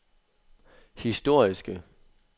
historiske